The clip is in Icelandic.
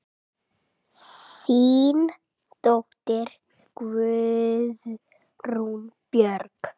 Þín dóttir, Guðrún Björg.